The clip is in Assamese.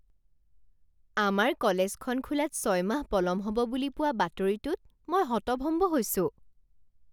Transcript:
আমাৰ কলেজখন খোলাত ছয় মাহ পলম হ'ব বুলি পোৱা বাতৰিটোত মই হতভম্ব হৈছোঁ।